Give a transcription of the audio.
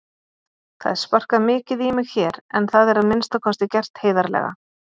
Það er sparkað mikið í mig hér en það er að minnsta kosti gert heiðarlega.